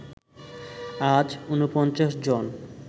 আজ ৪৯ জন